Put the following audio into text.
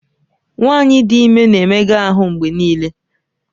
Nwanyị dị ime na-emega ahụ mgbe niile.